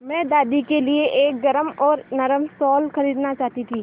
मैं दादी के लिए एक गरम और नरम शाल खरीदना चाहती थी